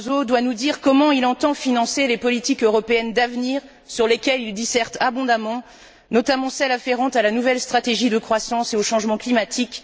Barroso, doit nous dire comment il entend financer les politiques européennes d'avenir sur lesquelles il disserte abondamment, notamment celles afférentes à la nouvelle stratégie de croissance et au changement climatique.